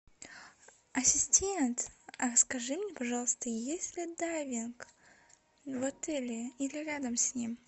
ассистент скажи мне пожалуйста есть ли дайвинг в отеле или рядом с ним